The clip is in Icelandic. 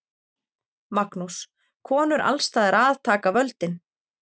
Magnús: Konur alls staðar að taka völdin?